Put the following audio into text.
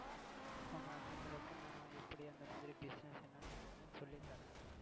உங்க அண்ணனங்களுக்கும் நான் எப்படி அந்த மாதிரி business என்னங்கிறதையும் சொல்லி தரேன்.